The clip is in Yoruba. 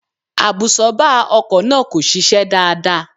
Àbùsọ́ọ́bà ọkọ̀ náà kò ṣiṣẹ́ dáadáa